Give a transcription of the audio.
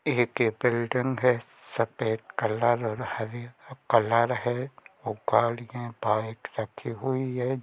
एक ए बिल्डिंग है सफ़ेद कलर और हरी कलर है और गाड़िया बाइक रखी हुई है।